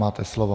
Máte slovo.